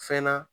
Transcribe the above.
Fɛn na